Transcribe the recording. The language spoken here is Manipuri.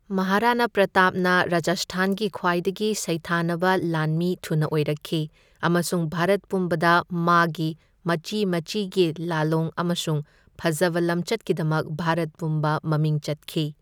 ꯃꯍꯥꯔꯥꯅꯥ ꯄ꯭ꯔꯥꯇꯥꯞꯅ ꯔꯥꯖꯁꯊꯥꯟꯒꯤ ꯈ꯭ꯋꯥꯏꯗꯒꯤ ꯁꯩꯊꯥꯅꯕ ꯂꯥꯟꯃꯤ ꯊꯨꯅ ꯑꯣꯏꯔꯛꯈꯤ ꯑꯃꯁꯨꯡ ꯚꯥꯔꯠ ꯄꯨꯝꯕꯗ ꯃꯥꯒꯤ ꯃꯆꯤ ꯃꯆꯤꯒꯤ ꯂꯥꯜꯂꯣꯡ ꯑꯃꯁꯨꯡ ꯐꯖꯕ ꯂꯝꯆꯠꯀꯤꯗꯃꯛ ꯚꯥꯔꯠ ꯄꯨꯝꯕ ꯃꯃꯤꯡ ꯆꯠꯈꯤ꯫